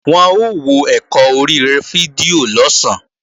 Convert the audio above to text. Wọn ó wọ ẹ̀kọ́ orí fídíò lọ̀sán